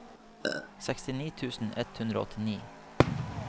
sekstini tusen ett hundre og åtti